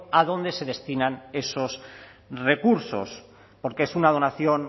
a dónde se destinan esos recursos porque es una donación